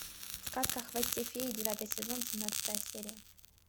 сказка о хвосте феи девятый сезон семнадцатая серия